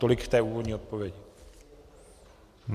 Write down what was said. Tolik k té úvodní odpovědi.